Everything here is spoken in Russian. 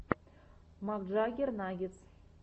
макджаггер наггетс